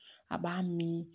A b'a miiri